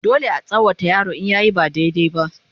dole a tsawata wa yaro in yayi ba daidai ba